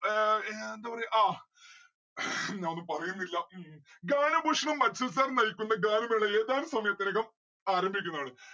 ഏർ ഞാൻ എന്താ പറയ് ആ ഞാൻ ഒന്നും പറയുന്നില്ല. ഗാനഭൂഷണം അക്ഷയ് sir നയിക്കുന്ന ഗാനമേള ഏതാനും സമയത്തിനകം ആരംഭിക്കുന്നതാണ്.